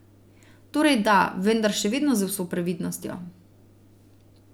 Torej da, vendar še vedno z vso previdnostjo.